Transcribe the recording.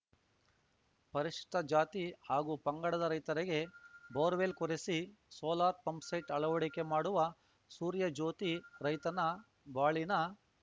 ಪರಿಶಿಷ್ಟಜಾತಿ ಹಾಗೂ ಪಂಗಡದ ರೈತರಿಗೆ ಬೋರ್‌ವೆಲ್‌ ಕೊರೆಸಿ ಸೋಲಾರ್‌ ಪಂಪ್‌ಸೆಟ್‌ ಅಳವಡಿಕೆ ಮಾಡುವ ಸೂರ್ಯ ಜ್ಯೋತಿ ರೈತರ ಬಾಳಿನ